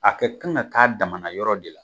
A kɛ kan ka k'a damana yɔrɔ de la